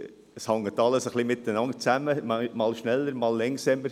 Es hängt alles zusammen, einmal schneller, einmal langsamer.